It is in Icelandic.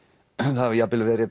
það hafi verið